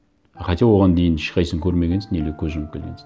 а хотя оған дейін ешқайсысын көрмегенсің или көз жұмып келгенсің